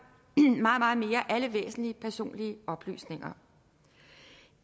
alle væsentlige personlige oplysninger